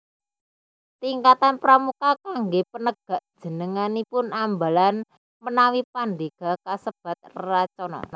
Tingkatan Pramuka kangge Penegak jenenganipun Ambalan menawi Pandega kasebat Racana